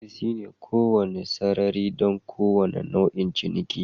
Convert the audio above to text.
Ofis shine kowane sarari don kowane nau'in ciniki